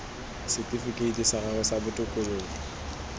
setifikeiti sa gago sa botokololo